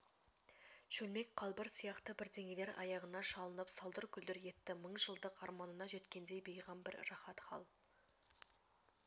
шөлмек қалбыр сияқты бірдеңелер аяғына шалынып салдыр-күлдір етті мың жылдық арманына жеткендей бейғам бір рахат хал